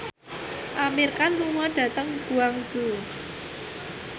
Amir Khan lunga dhateng Guangzhou